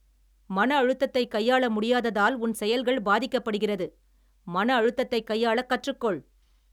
மன அழுத்தத்தை கையாள முடியாததால் உன் செயல்கள் பாதிக்கப் படுகிறது. மன அழுத்தத்தைக் கையாளக் கற்றுக்கொள் .